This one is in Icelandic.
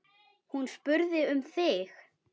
Hún spurði um þig.